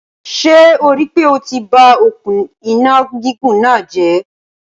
Ṣé o rí pé o ti ba òkun iná gígùn náà jẹ̀?